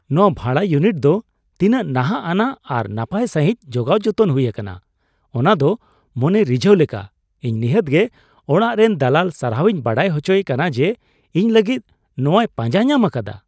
ᱱᱚᱶᱟ ᱵᱷᱟᱲᱟ ᱤᱭᱩᱱᱤᱴ ᱫᱚ ᱛᱤᱱᱟᱹᱜ ᱱᱟᱦᱟᱜ ᱟᱱᱟᱜ ᱟᱨ ᱱᱟᱯᱟᱭ ᱥᱟᱹᱦᱤᱡ ᱡᱚᱜᱟᱣ ᱡᱚᱛᱚᱱ ᱦᱩᱭ ᱟᱠᱟᱱᱟ ᱚᱱᱟᱫᱚ ᱢᱚᱱᱮ ᱨᱤᱡᱷᱟᱹᱣ ᱞᱮᱠᱟ ! ᱤᱧ ᱱᱤᱦᱟᱹᱛᱜᱮ ᱚᱲᱟᱜ ᱨᱮᱱ ᱫᱟᱞᱟᱞ ᱥᱟᱨᱦᱟᱣᱤᱧ ᱵᱟᱲᱟᱭ ᱦᱚᱪᱚᱭᱮ ᱠᱟᱱᱟ ᱡᱮ ᱤᱧ ᱞᱟᱹᱜᱤᱫ ᱱᱚᱶᱟᱭ ᱯᱟᱸᱡᱟ ᱧᱟᱢ ᱟᱠᱟᱫᱟ ᱾